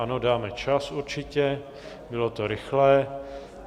Ano, dáme čas, určitě, bylo to rychlé.